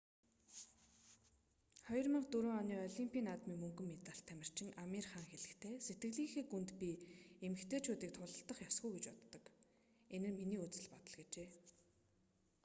2004 оны олимпийн наадмын мөнгөн медальт тамирчин амир хан хэлэхдээ сэтгэлийнхээ гүнд би эмэгтэйчүүдийг тулалдах ёсгүй гэж боддог энэ миний үзэл бодол гэжээ